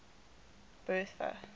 bertha